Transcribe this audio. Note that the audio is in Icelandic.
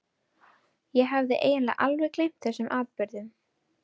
Ég hafði eiginlega alveg gleymt þessum atburðum.